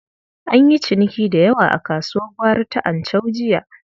An yi ciniki da yawa a kasuwar gwari ta Anchau jiya.